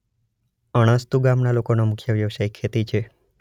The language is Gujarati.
અણસ્તુ ગામના લોકોનો મુખ્ય વ્યવસાય ખેતી છે.